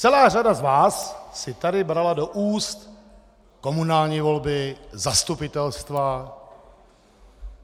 Celá řada z vás si tady brala do úst komunální volby, zastupitelstva.